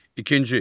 İkinci.